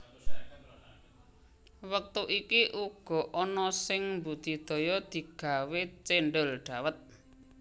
Wektu iki uga ana sing mbudidaya digawe cendhol dhawet